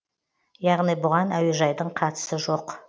яғни бұған әуежайдың қатысы жоқ